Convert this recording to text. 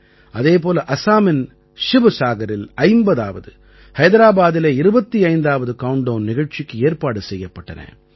அதே போல அஸாமின் சிவசாகரில் 50ஆவது ஹைதராபாதிலே 25ஆவது கவுண்ட் டவுன் நிகழ்ச்சிக்கு ஏற்பாடு செய்யப்பட்டன